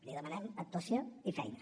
li demanem actuació i feina